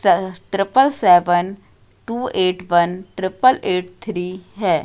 Triple seven two eight one triple eight three है।